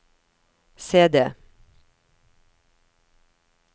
CD